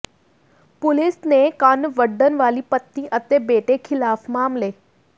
police ਨੇ ਕੰਨ ਵੱਢਣ ਵਾਲੀ ਪਤਨੀ ਅਤੇ ਬੇਟੇ ਖਿਲਾਫ ਮਾਮਲੇ